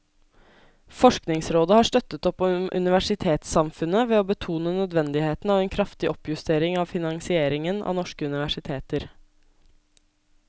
Forskningsrådet har støttet opp om universitetssamfunnet ved å betone nødvendigheten av en kraftig oppjustering av finansieringen av norske universiteter.